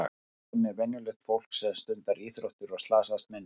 En hvað með venjulegt fólk sem stundar íþróttir og slasast minna?